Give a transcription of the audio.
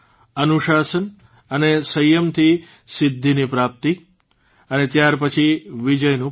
અનુશાસન અને સંયમથી સિદ્ધિની પ્રાપ્તિ અને ત્યારપછી વિજયનું પર્વ